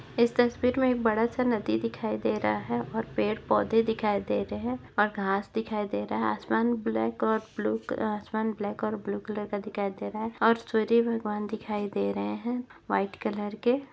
इस तस्वीर मे एक बड़ा सा नदी दिखाई दे रहा है और पेड़ पौधे दिखाई दे रहे है और घास दिखाई दे रहा है आसमान ब्लैक और ब्लू आसमान ब्लैक और ब्लू कलर का दिखाई दे रहा है और सूर्य भगवान दिखाई दे रहे है व्हाइट कलर के।